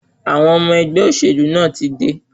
Àwọn ọmọ ẹgbẹ́ olóṣèlú náà ti dé.